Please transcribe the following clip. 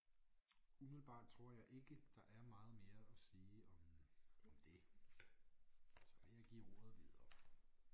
Umiddelbart tror jeg ikke der er meget mere at sige om om det så vil jeg give ordet videre